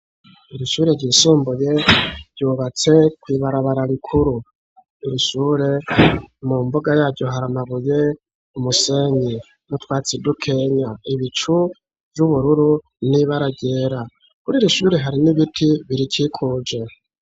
Iri shure ryisumbuye, ryubatse kw’ibarabara rikuru; iri shure, mu mbuga yaryo, hari amabuye, umusenyi, n'utwatsi dukenya; ibicu vy'ubururu, n'ibara ryera; kuri iri shure, hari n'ibiti birikikuje.